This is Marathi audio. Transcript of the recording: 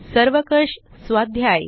सर्वकष स्वाध्याय